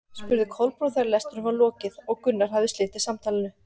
spurði Kolbrún þegar lestrinum var lokið og Gunnar hafði slitið samtalinu.